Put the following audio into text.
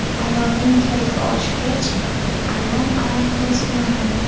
Ayolning kayfi oshgach, alam alangasi yonadi.